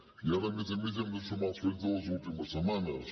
i ara a més a més hi hem de sumar els fets de fa unes setmanes